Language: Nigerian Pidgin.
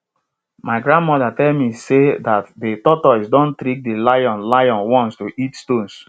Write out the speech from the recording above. my grandmother tell me sey dat de tortoise don trick de lion lion once to eat stones